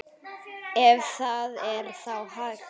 Ef það er þá hægt.